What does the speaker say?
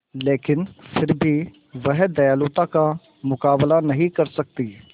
लेकिन फिर भी वह दयालुता का मुकाबला नहीं कर सकती